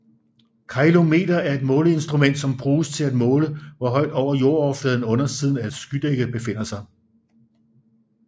Ceilometer er et måleinstrument som bruges til måle hvor højt over jordoverfladen undersiden af et skydække befinder sig